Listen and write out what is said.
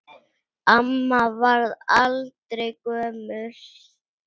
Amma varð aldrei gömul.